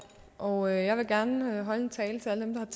og jeg vil gerne holde en tale for alle dem